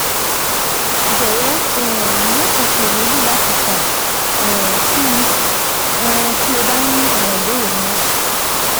Jọwọ um maṣe ṣiyemeji lati kan um si mi um ti o ba ni awọn ibeere miiran